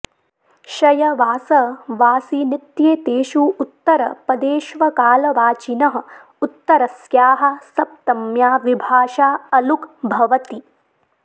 शय वास वासिनित्येतेषु उत्तरपदेष्वकालवाचिनः उत्तरस्याः सप्तम्या विभाषा अलुक् भवति